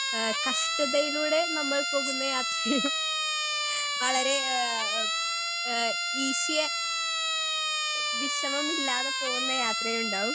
speaker 2 എഹ് കഷ്ട്ടതയിലൂടെ നമ്മൾ പോകുന്ന യാത്ര വളരെ ഏഹ് എഹ് ഈസി വിഷമമില്ലാതെ പോവുന്ന യാത്രയുണ്ടാവും